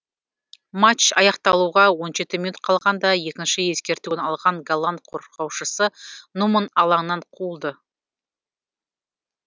матч аяқталуға он жеті минут қалғанда екінші ескертуін алған голланд қорғаушысы нуман алаңнан қуылды